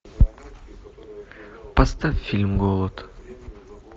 поставь фильм голод